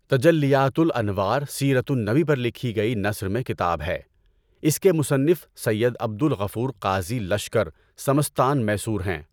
تجلیاتُ الانوار سیرتُ النبی پر لکھی گئی نثر میں کتاب ہے، اس کے مصنف سید عبد الغفور قاضی لشکر سمستان میسور ہیں۔